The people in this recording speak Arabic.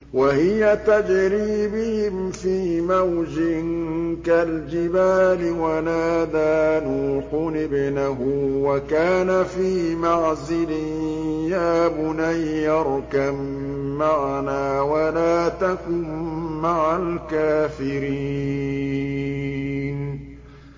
وَهِيَ تَجْرِي بِهِمْ فِي مَوْجٍ كَالْجِبَالِ وَنَادَىٰ نُوحٌ ابْنَهُ وَكَانَ فِي مَعْزِلٍ يَا بُنَيَّ ارْكَب مَّعَنَا وَلَا تَكُن مَّعَ الْكَافِرِينَ